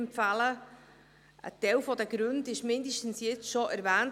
Ein Teil der Gründe wurde jetzt schon erwähnt.